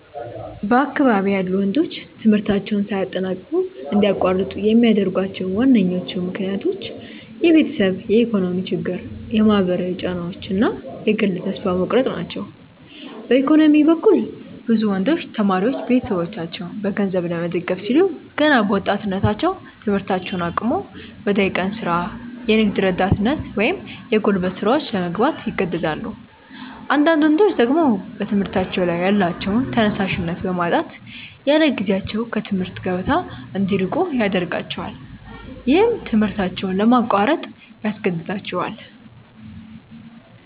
በአካባቢዬ ያሉ ወንዶች ትምህርታቸውን ሳያጠናቅቁ እንዲያቋርጡ የሚያደርጓቸው ዋነኞቹ ምክንያቶች የቤተሰብ የኢኮኖሚ ችግር፣ የማህበራዊ ጫናዎች እና የግል ተስፋ መቁረጥ ናቸው። በኢኮኖሚ በኩል፣ ብዙ ወንዶች ተማሪዎች ቤተሰቦቻቸውን በገንዘብ ለመደገፍ ሲሉ ገና በወጣትነታቸው ትምህርታቸውን አቁመው ወደ የቀን ሥራ፣ የንግድ ረዳትነት ወይም የጉልበት ሥራዎች ለመግባት ይገደዳሉ። አንዳንዳድ ወንዶች ደግሞ በትምህርታቸው ላይ ያላቸውን ተነሳሽነት በማጣት ያለጊዜያቸው ከትምህርት ገበታ እንዲርቁ ያደርጋቸዋል። ይህም ትምህርታቸውን ለማቋረጥ ያስገድዳቸዋል።